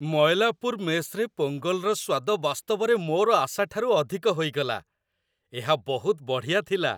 ମୟଲାପୁର ମେସ୍‌ରେ ପୋଙ୍ଗଲର ସ୍ୱାଦ ବାସ୍ତବରେ ମୋର ଆଶାଠାରୁ ଅଧିକ ହୋଇଗଲା। ଏହା ବହୁତ ବଢ଼ିଆ ଥିଲା।